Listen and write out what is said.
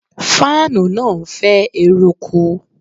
Fáànù náà ń fẹ́ eruku.